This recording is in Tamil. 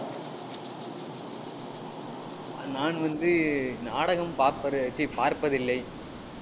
நான் வந்து, நாடகம் பார்ப்பதை~ ச்சீ பார்ப்பதில்லை